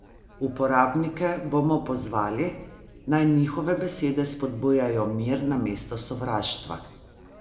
Uporabnike bomo pozvali, naj njihove besede spodbujajo mir namesto sovraštva.